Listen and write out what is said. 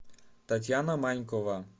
татьяна манькова